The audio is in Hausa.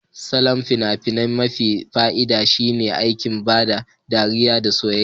Salon fina-finai mafi fa'ida shine aiki, ban ɗariya da soyayya.